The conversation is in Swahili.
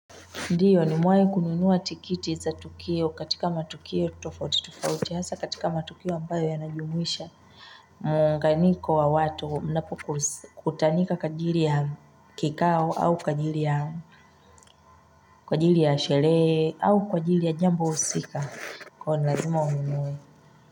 Ndiyo nimewai kununua tikiti za tukio katika matukio tofauti tofauti tofauti f, hasa katika matukio ambayo yanajumuisha. Muunganyiko wa watu, kutanika kwa ajiri ya kikao au kwa ajiri ya kwa ajiri ya sherehe au kwa ajiri ya jambo husika. Kwani lazima ununue.